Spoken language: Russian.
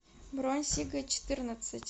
бронь сига четырнадцать